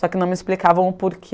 Só que não me explicavam o